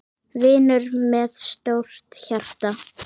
Vinur með stórt hjarta.